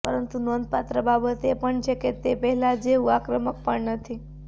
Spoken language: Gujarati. પરંતુ નોંધપાત્ર બાબત એ પણ છે કે તે પહેલા જેવું આક્રમક પણ નથી